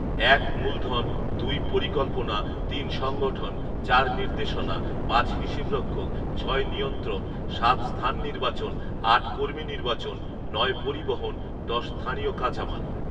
এক মূলধন দুই পরিকল্পনা তিন সংগঠন চার নির্দেশনা পাঁচ হিসাবরক্ষক ছয় নিয়ন্ত্রণ সাত স্থান নির্বাচন আট কমী নির্বাচন নয় পরিবহণ দশ স্থানীয় কাঁচামাল